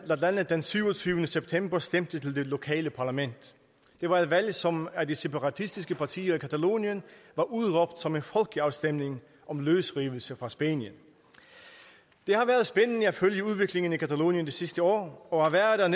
den syvogtyvende september stemte til det lokale parlament det var et valg som af de separatistiske partier i catalonien var udråbt som en folkeafstemning om løsrivelse fra spanien det har været spændende at følge udviklingen i catalonien det sidste år og at være der